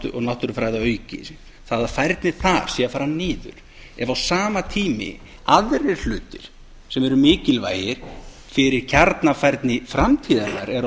og náttúrufræði að auki það að færni þar sé að fara niður ef á sama tíma aðrir hlutir sem eru mikilvægir fyrir kjarnafærni framtíðarinnar eru á